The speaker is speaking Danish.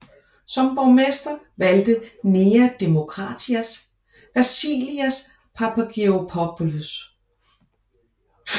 Som borgmester valgte Nea Demokratias Vassilios Papageorgopoulos